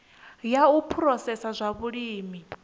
ya u phurosesa zwa vhulimi